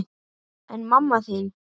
En mamma þín?